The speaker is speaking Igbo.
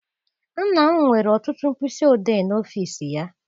Nna m nwere ọtụtụ mkpịsị odee n'ọfịịsi ya.